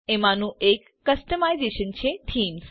એમાંનું એક કસ્ટમાઇઝેશન છે થીમ્સ